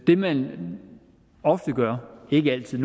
det man ofte gør ikke altid